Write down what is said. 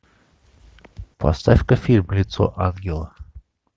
поставь ка фильм лицо ангела